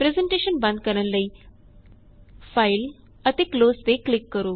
presentation ਬੰਦ ਕਰਨ ਲਈ ਫਾਈਲ ਅਤੇ ਕਲੋਜ਼ ਤੇ ਕਲਿਕ ਕਰੋ